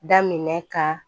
Daminɛ ka